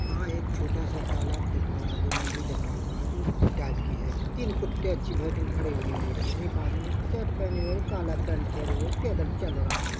यहां एक छोटा सा तालाब दिखाया जो नदी दिखा हुआ है टाइप की है तीन कुत्ते अच्छी भेटिन खड़े हुए है रोड पर एक आदमी शर्ट पहने हुए काला पेंट पहने हुए पैदल चल रहा है।